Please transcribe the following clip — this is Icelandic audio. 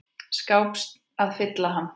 skáps að fylla hann.